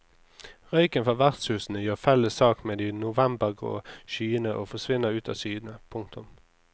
Røyken fra vertshusene gjør felles sak med de novembergrå skyene og forsvinner ut av syne. punktum